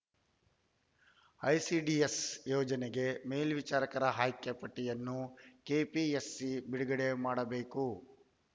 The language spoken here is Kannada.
ಐಸಿಡಿಎಸ್‌ ಯೋಜನೆಗೆ ಮೇಲ್ವಿಚಾರಕರ ಆಯ್ಕೆ ಪಟ್ಟಿಯನ್ನು ಕೆಪಿಎಸ್‌ಸಿ ಬಿಡುಗಡೆ ಮಾಡಬೇಕು